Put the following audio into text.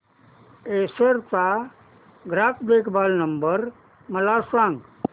Acer चा ग्राहक देखभाल नंबर मला सांगा